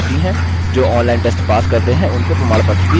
जो online test pass करते हैं उनको प्रमाणपत्र भी देते हैं